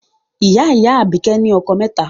Ìyá-ìyá Àbíkẹ́ ní okòó mẹ́ta.